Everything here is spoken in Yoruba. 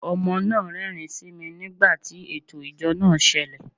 Ọmọ náà rẹ́rìn-ín sí mi nígbà tí ẹtọ ìjọ n sẹle